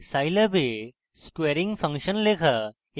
scilab a squaring function লেখা